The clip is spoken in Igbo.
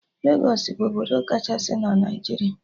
Legos bụ obodo kachasị na Naijiria